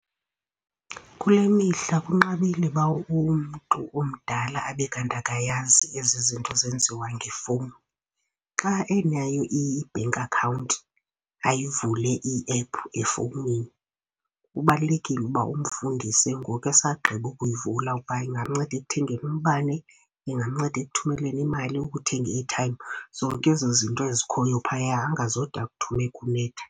Kule mihla kunqabile uba umntu omdala abe kanti akayazi ezi zinto zenziwa ngefowuni. Xa enayo i-bank account ayivule i-app efowunini, kubalulekile uba umfundise ngoku esagqiba ukuyivula uba ingamnceda ekuthengeni umbane, ingamnceda ekuthumeleni imali, ukuthenga i-airtime, zonke ezo zinto ezikhoyo phaya angazode akuthume kunetha.